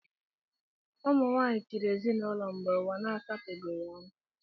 Ụmụ nwaanyị chịrị ezinaụlọ mgbe ụwa na-asapebeghị anya